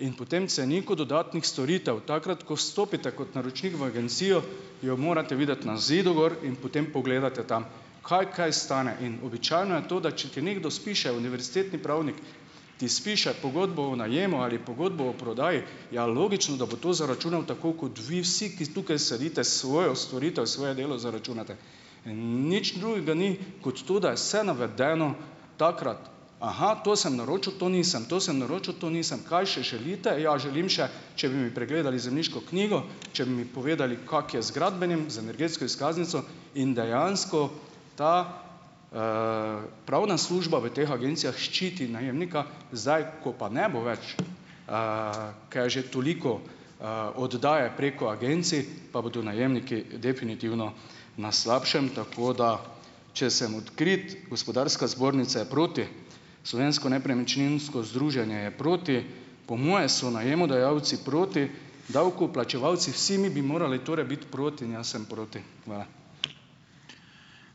in po tem ceniku dodatnih storitev takrat, ko stopite kot naročnik v agencijo, jo morate videti na zidu gor in potem pogledate tam, kaj kaj stane, in običajno je to, da če ti nekdo spiše, univerzitetni pravnik ti spiše pogodbo o najemu ali pogodbo o prodaji, ja, logično, da bo to zaračunal, tako kot vi vsi, ki tukaj sedite svojo storitev, svoje delo zaračunate, in nič drugega ni kot to, da je se navedeno takrat, aha, to sem naročil, to nisem, to sem naročil, to nisem, kaj še želite, ja želim še, če bi mi pregledali zemljiško knjigo, če bi mi povedali, kako je gradbenim, z energetsko izkaznico, in dejansko ta, pravna služba v teh agencijah ščiti najemnika, zdaj ko pa ne bo več, kaj je že toliko, oddaje preko agencij, pa bodo najemniki definitivno na slabšem, tako da če sem odkrit, gospodarska zbornica je proti, slovensko nepremičninsko združenje je proti, po moje so najemodajalci proti, davkoplačevalci vsi mi bi morali torej biti proti in jaz sem proti, hvala.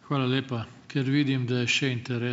Hvala lepa, ker vidim da je še ...